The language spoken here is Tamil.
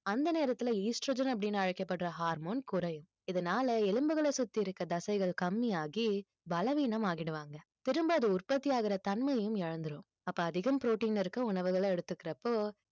அந்த நேரத்துல estrogen அப்படின்னு அழைக்கப்படுற hormone குறையும் இதனால எலும்புகளை சுத்தி இருக்க தசைகள் கம்மியாகி பலவீனம் ஆகிடுவாங்க திரும்ப அது உற்பத்தி ஆகுற தன்மையும் இழந்திடும் அப்ப அதிகம் protein இருக்க உணவுகளை எடுத்துக்கிறப்போ